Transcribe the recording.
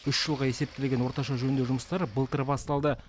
үш жылға есептелген орташа жөндеу жұмыстары былтыр басталды